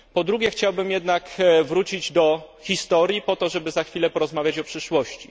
Po drugie chciałbym jednak wrócić do historii, po to żeby za chwilę porozmawiać o przyszłości.